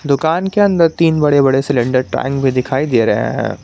दुकान के अंदर तीन बड़े बड़े सिलेंडर टैंक भी दिखाई दे रहे हैं।